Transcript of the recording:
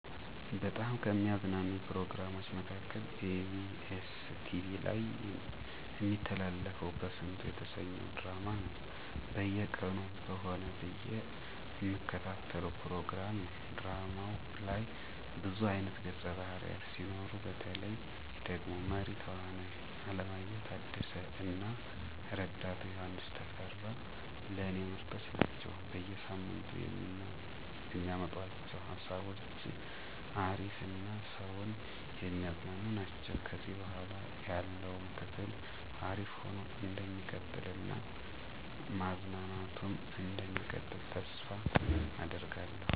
በጣም ከሚያዝናኑኝ ፕሮግራሞች መካከል ebs ቲቪ ላይ እሚተላለፈው በስንቱ የተሰኘው ድራማ ነው። በየቀኑ በሆነ ብዬ እምከታተለው ፕሮግራም ነው። ድራማው ላይ ብዙ አይነት ገፀ ባህርያት ሲኖሩ፤ በተለይ ደግሞ መሪ ተዋናዩ አለማየሁ ታደሰ እና ረዳቱ ዮሐንስ ተፈራ ለኔ ምርጦች ናቸው። በየ ሳምንቱ የሚያመጡአቸው ሃሳቦች አሪፍ እና ሰውን የሚያዝናኑ ናቸው። ከዚህ በኃላ ያለውም ክፍል አሪፍ ሆኖ እንደሚቀጥል እና ማዝናናቱም እንደሚቀጥል ተስፋ አደርጋለሁ።